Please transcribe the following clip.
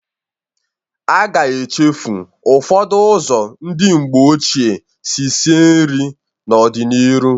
A ga-echefu ụfọdụ ụzọ ndị mgbe ochie si sie nri n'ọ dị n'ịrụ.